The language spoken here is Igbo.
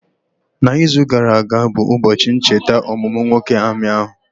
Na izu gara aga bụ ụbọchị ncheta ọmụmụ nwoke amị ahụ